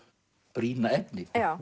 brýna efni